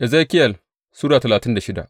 Ezekiyel Sura talatin da shida